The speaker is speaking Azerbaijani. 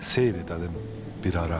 Seyr edəlim bir ara.